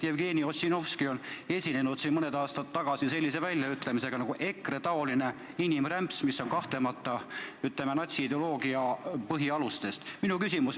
Jevgeni Ossinovski esines siin mõni aasta tagasi sellise väljaütlemisega nagu "EKRE-taoline inimrämps", mis on kahtlemata, ütleme, sarnane natsiideoloogia põhialustega.